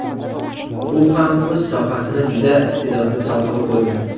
U ham o‘z sohasini juda iste’dodli sohibi bo‘lgan.